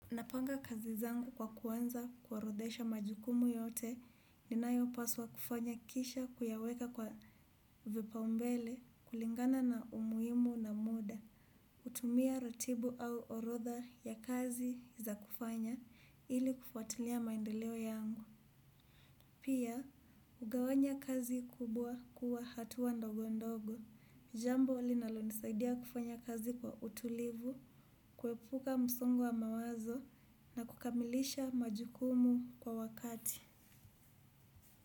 Napanga kazi zangu kwa kuanza kuorodhesha majukumu yote ninayo paswa kufanya kisha kuyaweka kwa vipaumbele kulingana na umuhimu na muda. Hutumia ratiba au orodha ya kazi za kufanya ili kufuatilia maendeleo yangu. Pia, ugawanya kazi kubwa kuwa hatua ndogo ndogo. Jambo linalo nisaidia kufanya kazi kwa utulivu, kuhepuka msongo wa mawazo na kukamilisha majukumu kwa wakati.